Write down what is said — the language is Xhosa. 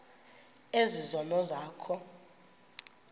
ezi zono zakho